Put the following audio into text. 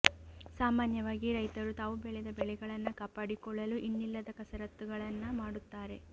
ಸಾಮಾನ್ಯವಾಗಿ ರೈತರು ತಾವು ಬೆಳೆದ ಬೆಳೆಗಳನ್ನ ಕಾಪಾಡಿಕೊಳ್ಳಲು ಇನ್ನಿಲ್ಲದ ಕಸರತ್ತುಗಳನ್ನ ಮಾಡುತ್ತಾರೆ